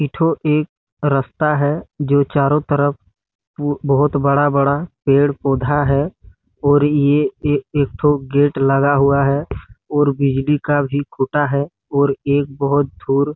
इट्ठो एक रास्ता है जो चारों तरफ टु बहोत बड़ा-बड़ा पेड़-पौधा है और ए एक ठो गेट लगा हुआ है और बीहड़ी का भी खुटा है और एक बहोत धुर--